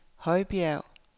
Højbjerg